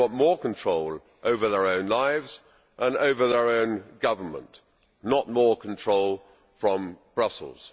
they want more control over their own lives and over their own government, not more control from Brussels.